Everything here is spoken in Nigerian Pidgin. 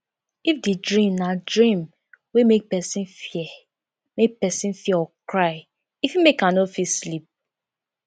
if di dream na dream wey make person fear make person fear or cry e fit make am no fit sleep